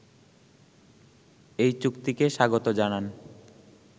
এই চুক্তিকে স্বাগত জানান